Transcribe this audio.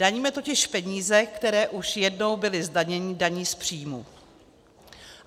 Daníme totiž peníze, které už jednou byly zdaněny daní z příjmu.